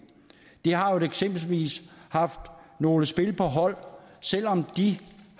vi har eksempelvis haft nogle spil på hold selv om de